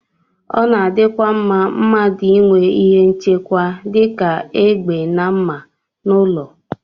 Ọ na-adịkwa mma mmadụ inwe ihe nchekwa dị ka egbe na mma n'ụlọ